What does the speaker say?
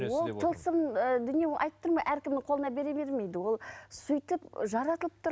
ол тылсым ыыы дүние оны айтып тұрмын ғой әркімнің қолына бере бермейді ол сөйтіп жаратылып тұр